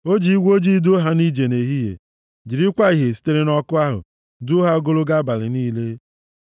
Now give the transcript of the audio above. O ji igwe ojii duo ha nʼije nʼehihie, jirikwa ìhè sitere nʼọkụ ahụ, duo ha ogologo abalị niile.